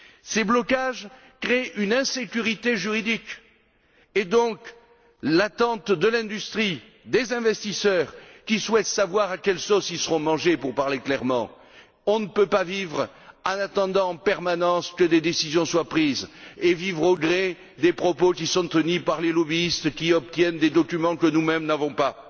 Ces blocages créent une insécurité juridique et maintiennent dans l'attente l'industrie, les investisseurs, qui souhaitent savoir à quelle sauce ils seront mangés, pour parler clairement. On ne peut pas vivre en attendant en permanence que des décisions soient prises et vivre au gré des propos qui sont tenus par les lobbyistes qui obtiennent des documents que nous mêmes n'avons pas.